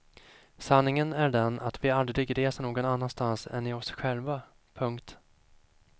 Sanningen är den att vi aldrig reser någon annanstans än i oss själva. punkt